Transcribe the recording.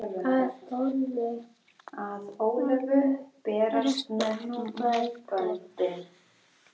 Að Ólöfu berast nú böndin.